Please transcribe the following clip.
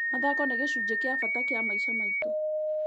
Mathako nĩ gĩcunjĩ gĩa bata kĩa maica maitũ.